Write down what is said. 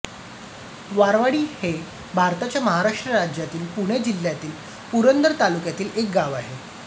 वारवाडी हे भारताच्या महाराष्ट्र राज्यातील पुणे जिल्ह्यातील पुरंदर तालुक्यातील एक गाव आहे